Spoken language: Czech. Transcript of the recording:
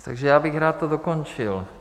Takže já bych to rád dokončil.